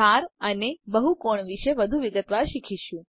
ધાર અને બહુકોણ વિશે વધુ વિગતવાર શીખીશું